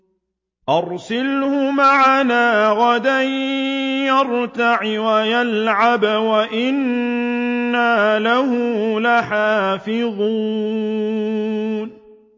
أَرْسِلْهُ مَعَنَا غَدًا يَرْتَعْ وَيَلْعَبْ وَإِنَّا لَهُ لَحَافِظُونَ